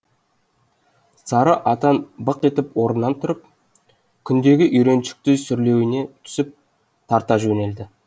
сары атан бық етіп орнынан тұрып күндегі үйреншікті сүрлеуіне түсіп тарта жөнелді